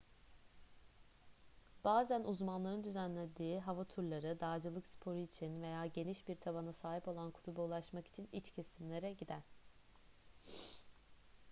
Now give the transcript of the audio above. bazen uzmanların düzenlediği hava turları dağcılık sporu için veya geniş bir tabana sahip olan kutuba ulaşmak için iç kesimlere gider